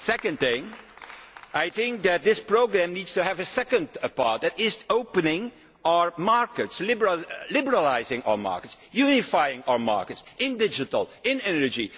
second thing I think that this programme needs to have a second part, which is opening our markets, liberalising our markets, unifying our markets in digital, in energy.